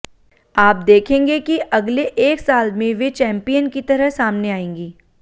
आप देखेंगे कि अगले एक साल में वे चैंपियन की तरह सामने आएंगीं